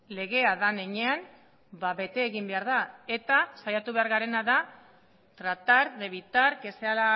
legea den heinean bete egin behar da eta saiatu behar garena da tratar de evitar que sea